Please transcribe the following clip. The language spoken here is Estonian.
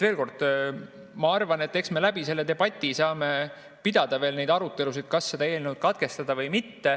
Veel kord: ma arvan, et eks me selle debati kaudu saame pidada veel neid arutelusid, kas seda eelnõu katkestada või mitte.